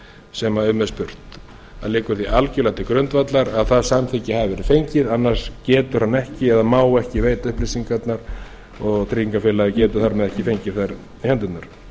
sem um er spurt það liggur því algerlega til grundvallar að það samþykki hafi verið fengið annars getur hann ekki eða má ekki veita upplýsingarnar og tryggingafélagið getur þar með ekki fengið þær í hendurnar